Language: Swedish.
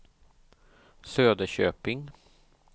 Söderköping